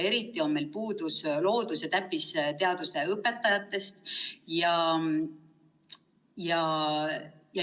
Eriti on meil puudus loodus- ja täppisteaduste õpetajatest.